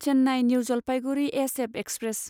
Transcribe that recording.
Chennai New Jalpaiguri SF express